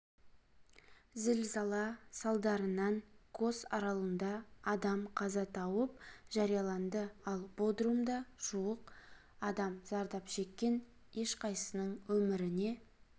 зілзала салдарынан кос аралында адам қаза тауып жараланды ал бодрумда жуық адам зардап шеккен ешқайсының өміріне